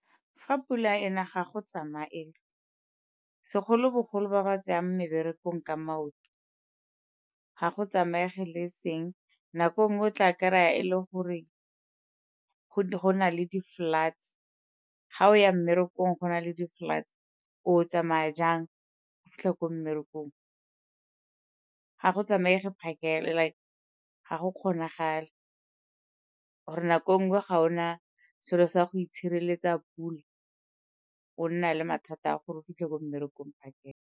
Fa pula ena ga go tsamaege, segolobogolo ba ba tseyang meberekong ka maoto, ga go tsamaege le e seng. Nako e nngwe o tla kry-a e le gore go na le di-floods, ga o ya mmerekong go na le di-floods o tsamaya jang go fitlha ko mmerekong. Ga go tsamaege phakela like ga go kgonagale or-e nako e nngwe ga o na selo sa go itshireletsa pula, o nna le mathata a gore o fitlhe ko mmerekong phakela.